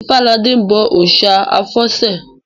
Ifáladé n bọ òòsà àfọ̀sẹ